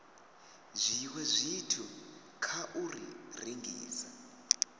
zwiwe zwithu kha u rengisa